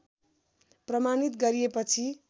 प्रमाणित गरिएपछि